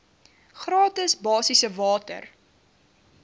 gratis basiese water